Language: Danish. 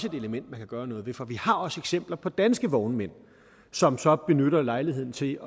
et element man kan gøre noget ved for vi har også eksempler på danske vognmænd som så benytter lejligheden til